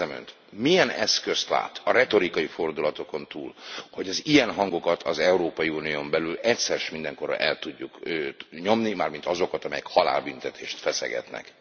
Kérdezem Önt, hogy milyen eszközt lát a retorikai fordulatokon túl, hogy az ilyen hangokat az Európai Unión belül egyszer s mindenkorra el tudjuk nyomni, mármint azokat, amelyek halálbüntetést feszegetnek.